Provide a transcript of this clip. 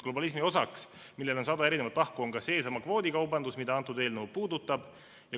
Globalismi osa, millel on sada erinevat tahku, on ka seesama kvoodikaubandus, mida antud eelnõu puudutab.